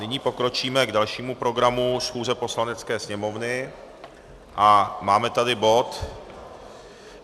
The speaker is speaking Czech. Nyní pokročíme k dalšímu programu schůze Poslanecké sněmovny a máme tady bod